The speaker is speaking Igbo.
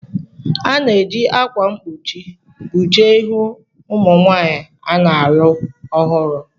A na-eji akwa mkpuchi kpuchie ihu ụmụ nwanyị a na-alụ ọhụrụ.